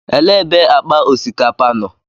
Elee ebe akpa osikapa nọ?